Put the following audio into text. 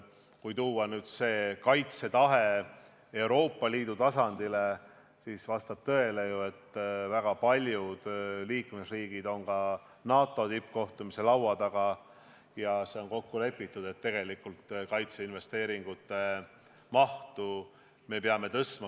Kui tuua kaitsetahe Euroopa Liidu tasandile, siis vastab tõele, et väga paljud liikmesriigid on NATO tippkohtumisel laua taga ja seal on kokku lepitud, et peame kaitseinvesteeringute mahtu suurendama.